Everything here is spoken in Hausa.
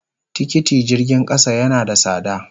Tikiti jirgin kasa yana da sada.